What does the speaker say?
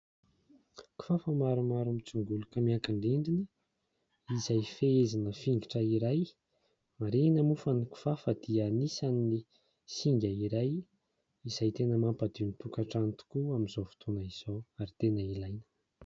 Kifafa maromaro mitsingoloka miankin-drindrina izay fehezina fingotra iray. Marihina moa fa ny kifafa dia anisan'ny singa iray izay tena mampadio ny tokantrano tokoa amin'izao fotoana izao ary tena ilaina.